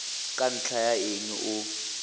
ka ntlha ya eng o